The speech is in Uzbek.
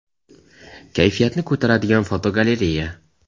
Kayfiyatni ko‘taradigan fotogalereya.